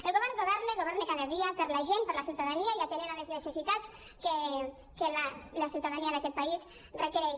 el govern governa governa cada dia per la gent per la ciuta·dania i atenent les necessitats que la ciutadania d’aquesta país requereix